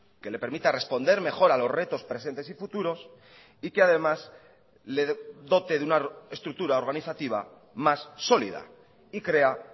que le permita responder mejor a los retos presentes y futuros y que además le dote de una estructura organizativa más sólida y crea